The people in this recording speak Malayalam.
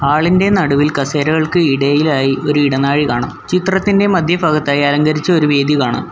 ഹാൾ ഇന്റെ നടുവിൽ കസേരകൾക്ക് ഇടയിലായി ഒരു ഇടനാഴി കാണാം ചിത്രത്തിൻ്റെ മധ്യഭാഗത്തായി അലങ്കരിച്ച ഒരു വേദി കാണാം.